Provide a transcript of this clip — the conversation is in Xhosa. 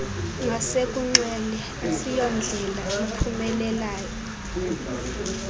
ngasekunxele asiyondlela iphumelayo